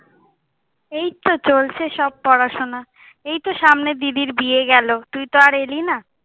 এই তো চলছে সব পড়াশুনা। এই তো সামনে দিদির বিয়ে গেলো, তুই তো আর এলি না।